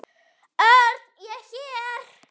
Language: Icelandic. Örn, ég er hér